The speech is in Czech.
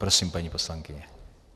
Prosím, paní poslankyně.